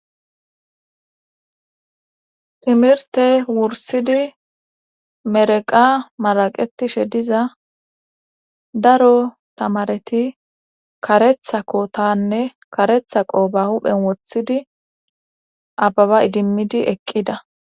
timirte wursidi mereqa maraqetishe diza daro tamareti karetha kotanne karetha qoba huphen wothidi ababa idimmidi eqqida